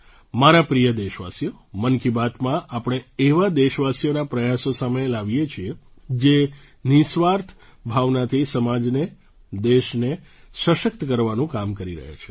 મારા પ્રિય દેશવાસીઓ મન કી બાતમાં આપણે એવા દેશવાસીઓના પ્રયાસો સામે લાવીએ છીએ જે નિઃસ્વાર્થ ભાવનાથી સમાજને દેશને સશક્ત કરવાનું કામ કરી રહ્યા છે